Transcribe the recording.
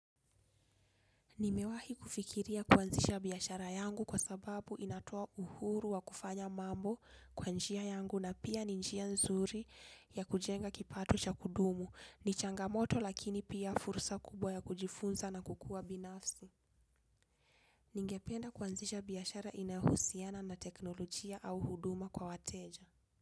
Nimewahi kufikiria kuanzisha biashara yangu kwa sababu inatoa uhuru wa kufanya mambo kwa njia yangu na pia ni njia nzuri ya kujenga kipato cha kudumu, ni changamoto lakini pia fursa kubwa ya kujifunza na kukua binafsi. Ningependa kuanzisha biashara inayohusiana na teknolojia au huduma kwa wateja.